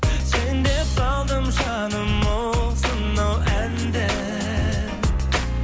сен деп салдым жаным осынау әнді